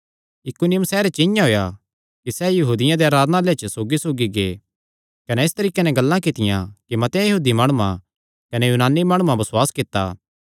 इकुनियुम सैहरे च इआं होएया कि सैह़ यहूदियां देयां आराधनालयां च सौगीसौगी गै कने इस तरीके नैं गल्लां कित्तियां कि मतेआं यहूदी माणुआं कने यूनानी माणुआं बसुआस कित्ता